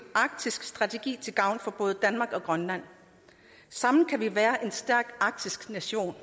arktisk strategi til gavn for både danmark og grønland sammen kan vi være en stærk arktisk nation